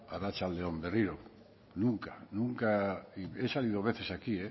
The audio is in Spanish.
arratsalde on berriro nunca nunca y he salido veces aquí